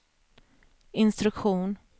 instruktion